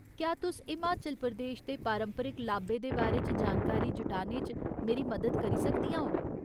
क्या तुस हिमाचल प्रदेश दे पारंपरिक लाब्बे दे बारे च जानकारी जुटाने च मेरी मदद करी सकदियां ओ ?